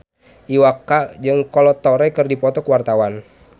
Iwa K jeung Kolo Taure keur dipoto ku wartawan